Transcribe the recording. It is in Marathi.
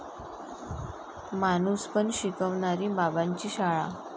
माणूसपण शिकवणारी 'बाबांची शाळा'